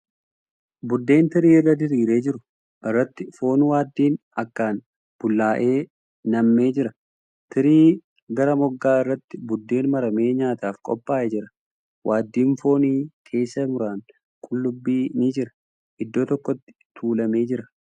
Buddeen tirii irra diriiree jiru irratti foon waaddiin akkaan bullaa'e nammee jira. Tirii gara moggaa irratti buddeen maramee nyaataaf qophaa'ee jira. Waaddiin foonii keessa muraan qullubbii ni jira. Iddoo tokkotti tuulamee jira.